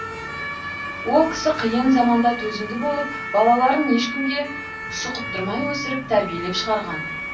ол кісі қиын заманда төзімді болып балаларын ешкімге шұқыттырмай өсіріп тәрбиелеп шығарған